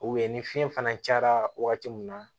U ye ni fiɲɛ fana cayara wagati min na